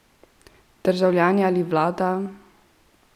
Državljani ali vlada?